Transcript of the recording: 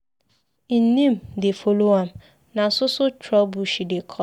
Im name dey follow am, na so so trouble she dey cause.